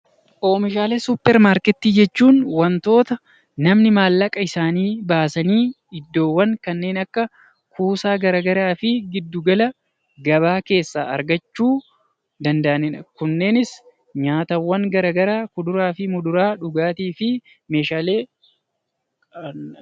Oomishaalee suupparmaarkeetii jechuun wantoota namni maallaqa isaanii baasanii iddoowwan kanneen akka kuusaa garaagaraa fi giddu gala gabaa keessaa argachuu danda'anidha. Kunneenis nyaataawwan garaagaraa kuduraa fi muduraa of keessaa qaba.